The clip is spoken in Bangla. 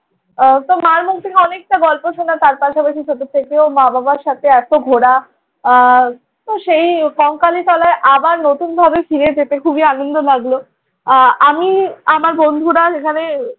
আহ মার মুখ থেকে অনেকটা গল্প শুনলাম। তার পাশাপাশি ছোট থেকেও মা-বাবার সাথে এত ঘোরা আহ সেই কঙ্কালীতলায় আবার নতুনভাবে ফিরে যেতে খুবই আনন্দ লাগল। আহ আমি আমার বন্ধুরা এখানে